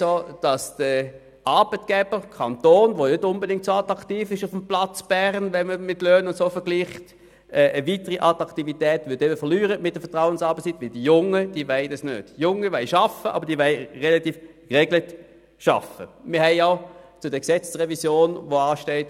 Man weiss auch, dass der Arbeitgeber Kanton, der bekanntlich auf dem Platz Bern nicht besonders attraktiv ist, wenn man die Löhne vergleicht, mit der Vertrauensarbeitszeit weiter an Attraktivität verlieren würde.